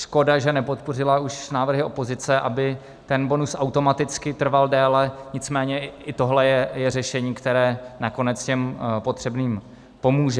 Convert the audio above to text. Škoda, že nepodpořila už návrhy opozice, aby ten bonus automaticky trval déle, nicméně i tohle je řešení, které nakonec těm potřebným pomůže.